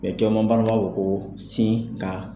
b'a fo ko sin ka.